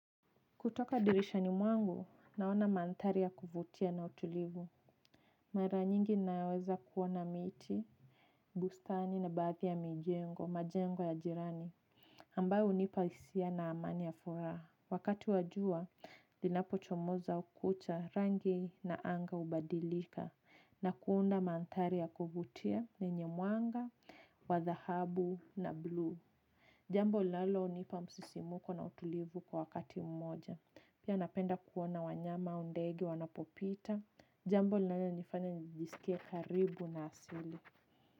Kutoka dirishani mwangu, naona mandhari ya kuvutia na utulivu. Mara nyingi naweza kuona miti, bustani na baadhi ya mijengo, majengo ya jirani. Ambayo hunipa hisia na amani ya furaha. Wakati wa jua, linapochomoza au kucha rangi na anga hubadilika. Na kuunda mandhari ya kuvutia, yenye mwanga, wa dhahabu na blue. Jambo linalonipa msisimuko na utulivu kwa wakati mmoja. Pia napenda kuona wanyama au ndege wanapopita. Jambo linalonifanya nijisike karibu na asili.